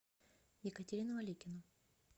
екатерину аликину